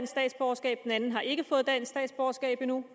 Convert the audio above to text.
statsborgerskab den anden har ikke fået dansk statsborgerskab endnu